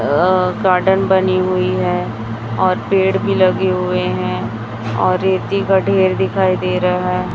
अह garden बनी हुई है और पेड़ भी लगे हुए हैं और रेती का ढेर दिखाई दे रहा है।